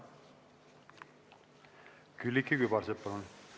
Külliki Kübarsepp, palun!